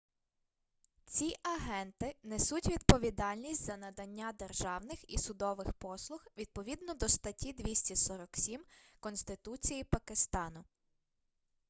ці агенти несуть відповідальність за надання державних і судових послуг відповідно до статті 247 конституції пакистану